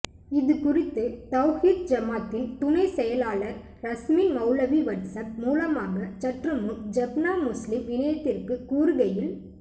இதுகுறித்து தவ்ஹீத் ஜமாத்தின் துணைச் செயலாளர் ரஸ்மின் மௌலவி வட்ஸப் மூலமாக சற்றுமுன் ஜப்னா முஸ்லிம் இணையத்திற்கு கூறுகையில்